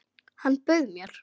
Hann bauð mér!